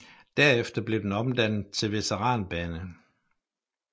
Derefter blev den omdannet til veteranbane